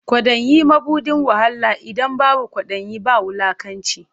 Kwaɗayi mabuɗin wahala, idan babu kwaɗayi ba wulakanci.